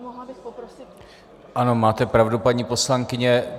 Ano, máte pravdu, paní poslankyně.